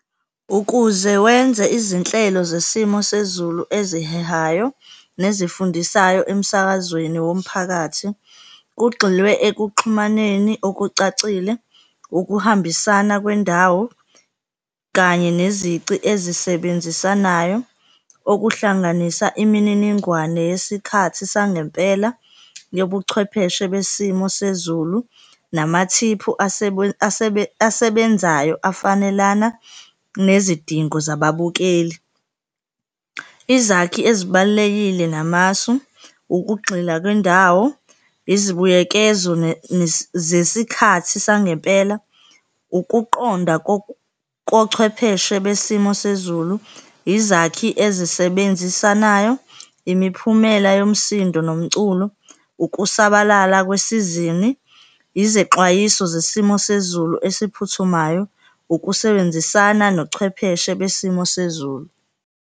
Ukuze wenze izinhlelo zesimo sezulu ezihehayo nezifundisayo emsakazweni womphakathi, kugxilwe ekuxhumaneni okucacile, ukuhambisana kwendawo kanye nezici ezisebenzisanayo, okuhlanganisa imininingwane yesikhathi sangempela yobuchwepheshe besimo sezulu, namathiphu asebenzayo afanelana nezidingo zababukeli. Izakhi ezibalulekile namasu, ukugxila kwendawo, izibuyekezo zesikhathi sangempela, ukuqonda kochwepheshe besimo sezulu, izakhi ezisebenzisanayo, imiphumela yomsindo nomculo, ukusabalala kwesizini, izexwayiso zesimo sezulu esiphuthumayo, ukusebenzisana nochwepheshe besimo sezulu.